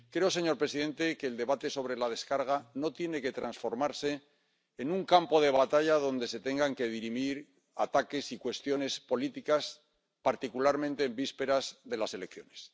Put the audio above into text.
Creo, señor presidente, que el debate sobre la aprobación de la gestión no tiene que transformarse en un campo de batalla donde se tengan que dirimir ataques y cuestiones políticas, particularmente en vísperas de las elecciones.